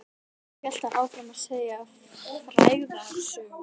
Svo hélt hann áfram að segja frægðarsögur.